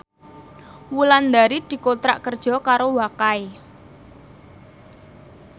Wulandari dikontrak kerja karo Wakai